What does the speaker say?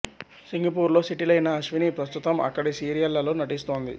Singapore లో settle అయిన అశ్విని ప్రస్తుతం అక్కడి సీరియళ్ళలో నటిస్తోంది